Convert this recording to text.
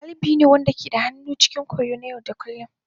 Dalibai ne waɗanda ke da hannu cikin koyo na yau da kullun.